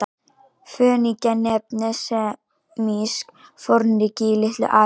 Fönikía nefndist semískt fornríki í Litlu-Asíu.